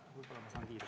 Võib-olla saan kiiremini.